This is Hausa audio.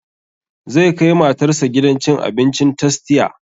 Zai kai matar sa gidan cin abincin tastia